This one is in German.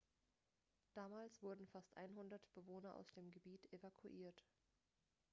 damals wurden fast 100 bewohner aus dem gebiet evakuiert